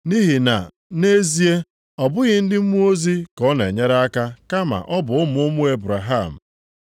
Nʼihi na nʼezie, ọ bụghị ndị mmụọ ozi ka ọ na-enyere aka kama ọ bụ ụmụ ụmụ Ebraham.